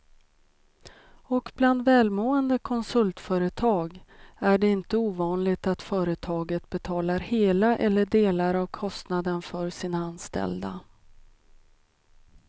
Och bland välmående konsultföretag är det inte ovanligt att företaget betalar hela eller delar av kostnaden för sina anställda.